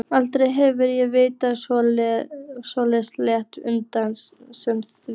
Aldrei hef ég vitað svo létta lund sem þína.